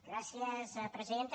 gràcies presidenta